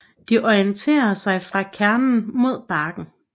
De orienterer sig fra kernen mod barken